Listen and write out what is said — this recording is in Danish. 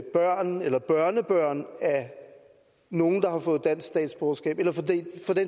børn eller børnebørn af nogle der har fået dansk statsborgerskab eller for den